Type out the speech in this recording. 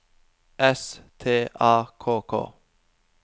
S T A K K